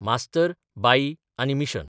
मास्तर, बाई आनी मिशन...